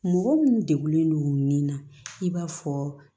Mɔgɔ minnu degunlen don nin na i b'a fɔ